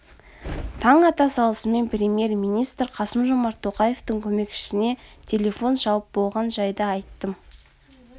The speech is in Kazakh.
таң ата салысымен премьер-министр қасымжомарт тоқаевтың көмекшісіне телефон шалып болған жайды айттым